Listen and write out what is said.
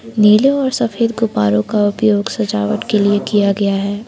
नीले और सफेद गुब्बारो का उपयोग सजावट के लिए किया गया है।